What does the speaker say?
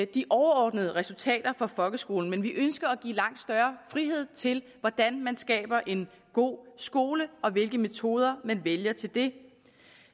de overordnede resultater for folkeskolen men vi ønsker at give langt større frihed til hvordan man skaber en god skole og hvilke metoder man vælger til det